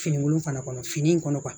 Finikolon fana kɔnɔ fini in kɔnɔ